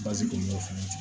Bazi don n'o fana cɛ